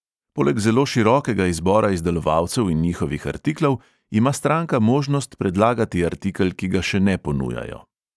Poleg zelo širokega izbora izdelovalcev in njihovih artiklov ima stranka možnost predlagati artikel, ki ga še ne ponujajo.